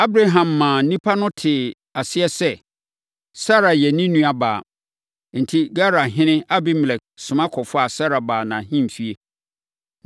Abraham maa nnipa no tee aseɛ sɛ, Sara yɛ ne nuabaa. Enti, Gerarhene Abimelek soma kɔfaa Sara baa nʼahemfie.